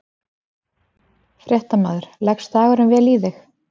Fréttamaður: Leggst dagurinn vel í þig?